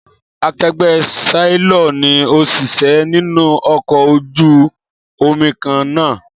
Akegbé séílọ̀r ni òṣìṣẹ́ nínú ọkọ̀ ojú omi kan náà